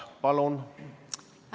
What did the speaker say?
Palun!